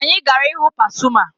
Anyị gara ịhụ Pasuma